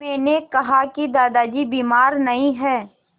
मैंने कहा कि दादाजी बीमार नहीं हैं